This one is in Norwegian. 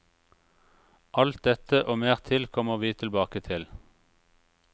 Alt dette og mer til kommer vi tilbake til.